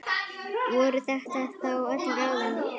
Voru þetta þá öll ráðin?